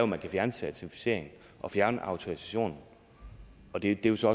man kan fjerne certificeringen og fjerne autorisationen og det er så